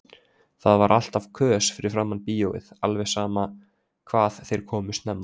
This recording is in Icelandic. Það var alltaf kös fyrir framan bíóið, alveg sama hvað þeir komu snemma.